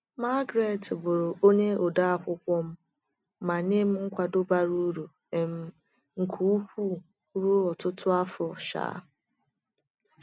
Margaret bụrụ onye odeakwụkwọ m ma nye m nkwado bara uru um nke ukwuu ruo ọtụtụ afọ. um